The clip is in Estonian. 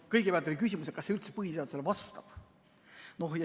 Kõigepealt küsimus, kas see üldse põhiseadusele vastab.